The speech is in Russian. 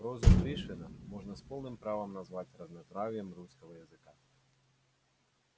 проза пришвина можно с полным правом назвать разнотравьем русского языка